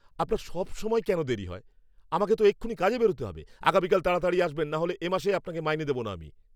আপনার সবসময় কেন দেরী হয়? আমাকে তো এক্ষুনি কাজে বেরোতে হবে! আগামীকাল তাড়াতাড়ি আসবেন নাহলে এ মাসে আপনাকে মাইনে দেব না আমি।